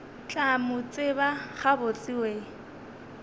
tla mo tseba gabotse we